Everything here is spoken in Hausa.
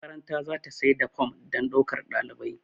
makaranta za ta sai da form don daukar ɗalibai